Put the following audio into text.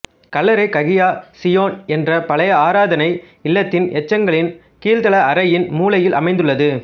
கல்லறை Hagia Zion என்ற பழைய ஆராதனை இல்லத்தின் எச்சங்களின் கீழ்ததள அறையின் மூலையில் அமைந்துள்ளது